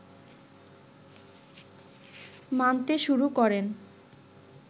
মানতে শুরু করেন